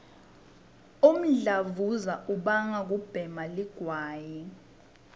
umdlavuza ubangwa kubhema ligwayi